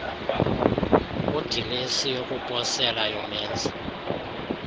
kudilesi yokuposela yomenzi